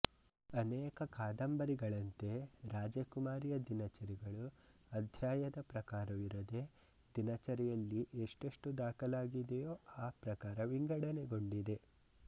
ಅನೇಕ ಕಾದಂಬರಿಗಳಂತೆ ರಾಜಕುಮಾರಿಯ ದಿನಚರಿಗಳು ಅಧ್ಯಾಯದ ಪ್ರಕಾರವಿರದೆ ದಿನಚರಿಯಲ್ಲಿ ಎಷ್ಟೆಷ್ಟು ದಾಖಲಾಗಿದೆಯೋ ಆ ಪ್ರಕಾರ ವಿಂಗಡನೆಗೊಂಡಿದೆ